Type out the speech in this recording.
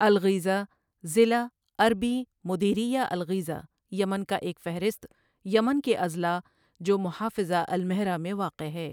الغیضہ ضلع عربی مديرية الغيظة یمن کا ایک فہرست یمن کے اضلاع جو محافظہ المہرہ میں واقع ہے۔